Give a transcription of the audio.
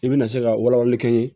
I bɛna se ka walawalali kɛ n ye